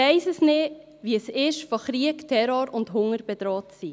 Ich weiss nicht, wie es ist, von Krieg, Terror und Hunger bedroht zu sein.